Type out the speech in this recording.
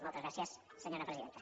moltes gràcies senyora presidenta